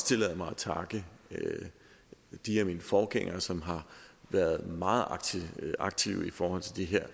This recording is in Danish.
tillade mig at takke de af mine forgængere som har været meget aktive aktive i forhold til det her